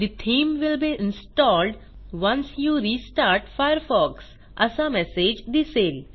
the theme will be installed once you restart Firefox असा message दिसेल